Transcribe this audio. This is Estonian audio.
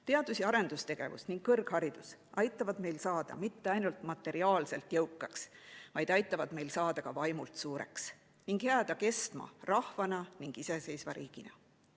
Teadus‑ ja arendustegevus ning kõrgharidus aitavad meil saada mitte ainult materiaalselt jõukaks, vaid aitavad meil saada ka vaimult suureks ning jääda kestma rahvana ning iseseisva riigina.